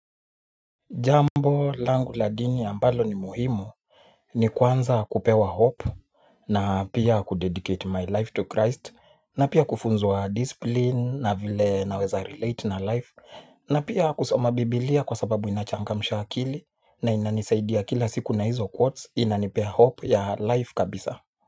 Jambo langu la dini ambalo ni muhimu nikwanza kupewa hope, na pia ku dedicate my life to christ na pia kufunzwa discipline na vile naweza relate na life, na pia kusoma bibilia kwa sababu ina changamsha akili na inanisaidia kila siku na hizo quotes na inanipea hope ya life kabisa.